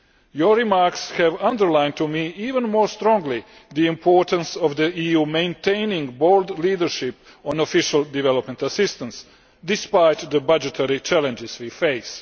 Your remarks have underlined to me even more strongly the importance of the EU maintaining bold leadership on Official Development Assistance despite the budgetary challenges we face.